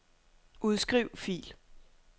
Udskriv fil.